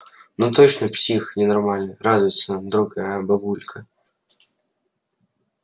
ну точно псих ненормальный радуется другая бабулька